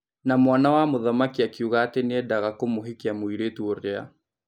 Na mwana wa mũthamaki akiuga atĩ nĩendaga kũmũhikia mũirĩtũ ũrĩa.